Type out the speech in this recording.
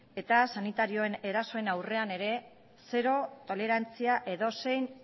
eta sanitarioen erasoen aurrean ere zero tolerantzia edozein